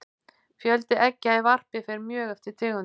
fjöldi eggja í varpi fer mjög eftir tegundum